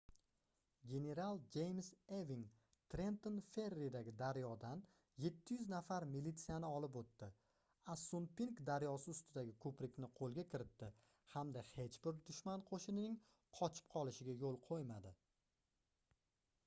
general jeyms eving trenton ferridagi daryodan 700 nafar militsiyani olib oʻtdi assunpink daryosi ustidagi koʻprikni qoʻlga kiritdi hamda hech bir dushman qoʻshinining qochib qolishiga yoʻl qoʻymadi